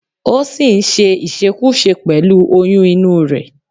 O sì ń ṣe ìṣekúṣe pẹ̀lú oyún inú rẹ̀